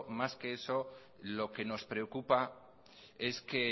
más que eso lo que nos preocupa es que